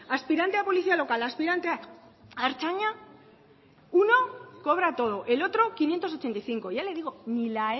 aspirante a policía local aspirante a ertzaina uno cobra todo el otro quinientos ochenta y cinco ya le digo ni la